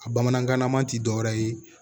A bamanankanlama tɛ dɔwɛrɛ ye